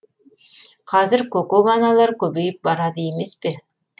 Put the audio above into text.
қазір көкөк аналар көбейіп барады емес пе